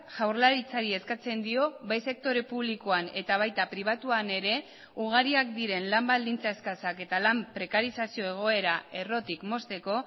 jaurlaritzari eskatzen dio bai sektore publikoan eta baita pribatuan ere ugariak diren lan baldintza eskasak eta lan prekarizazio egoera errotik mozteko